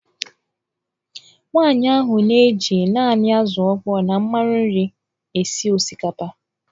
Nwaanyị ahụ na-eji naanị azụ̀ ọkpọọ na mmanụ nri esi osikapa.